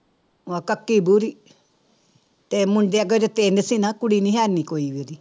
ਕੱਕੀ ਭੂਰੀ ਤੇ ਮੁੰਡੇ ਅਗਰ ਤਿੰਨ ਸੀ ਨਾ ਕੁੜੀ ਨੀ ਹੈਨੀ ਕੋਈ ਵੀ ਉਹਦੀ।